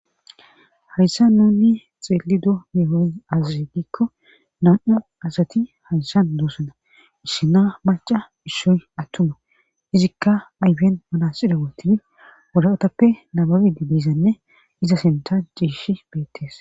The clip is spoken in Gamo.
Hayssan nuni xeeli do meehos azaze gikko nam7o asati hayssan doosana isshina maca issoy attuma izikka aybien manasida wootibi wodaatappe nababedi biizanne iza senta ciishi beettees